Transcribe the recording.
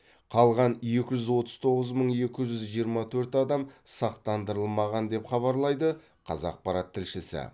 қалған екі жүз отыз тоғыз мың екі жүз жиырма төрт адам сақтандырылмаған деп хабарлайды қазақпарат тілшісі